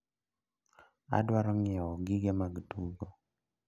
Adwaro nyiewo gige mag tugo.